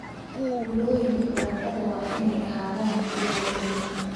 Tuulooyinka baradhada waa inay ahaadaan kuwo waaweyn